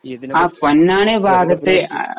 ഇതിനെ പറ്റി